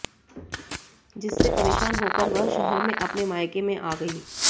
जिससे परेशान होकर वह शहर में अपने मायके में आ गई